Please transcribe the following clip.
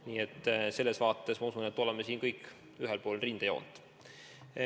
Nii et selles mõttes, ma usun, me oleme kõik ühel pool rindejoont.